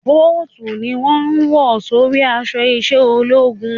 Bóòtù ni wọ́n ń wọ̀ sórí aṣọ iṣẹ́ ológun